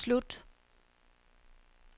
slut